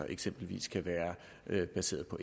eksempelvis kan være baseret på